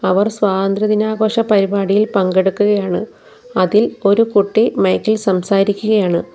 അവർ സ്വാതന്ത്ര്യ ദിന ആഘോഷ പരിപാടിയിൽ പങ്കെടുക്കുകയാണ് അതിൽ ഒരു കുട്ടി മൈക്ക് ഇൽ സംസാരിക്കുകയാണ്.